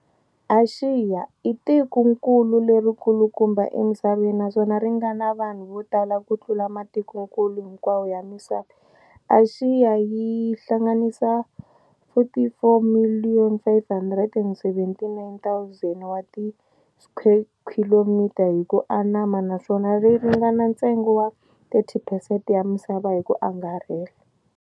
Axiya, i tikonkulu leri kulukumba emisaveni naswona leri ngana vanhu votala kutlula matikonkulu hinkwawo ya misava. Axiya yi hlanganisa 44,579,000 wati skwekhilomitara hi ku anama, naswona ri ringana ntsengo wa 30 percent ya misava hiku angarhela.